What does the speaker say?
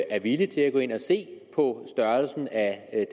er villige til at gå ind og se på størrelsen af